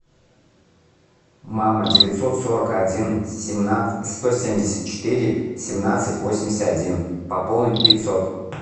мама девятьсот сорок один сто семьдесят четыре семнадцать восемьдесят один пополнить пятьсот